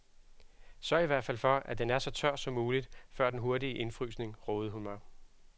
Sørg i hvert fald for, at den er så tør som muligt før den hurtige indfrysning, rådede hun mig.